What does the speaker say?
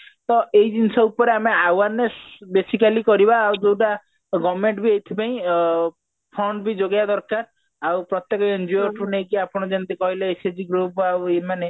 ତ ଏଇ ଜିନିଷ ଉପରେ ଆଏ awareness basically କରିବା ଆଉ ଯୋଉଟା government ବି ଏଇଥି ପାଇଁ ଅ fund ବି ଯୋଗେଇବା ଦରକାର ଆଉ ପ୍ରତ୍ୟକ NGO ଠୁ ନେଇକି ଆପଣ ଯେମତି କହିଲେ SSG group ଆଉ ଏମାନେ